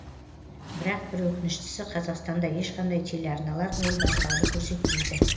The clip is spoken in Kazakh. бірақ бір өкініштісі қазақстанда ешқандай телеарналар ол байқауды көрсетпейді